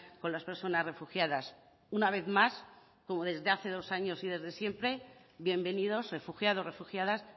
con las personas refugiadas una vez más como desde hace dos años y desde siempre bienvenidos refugiados refugiadas